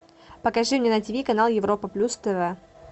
покажи мне на тиви канал европа плюс тв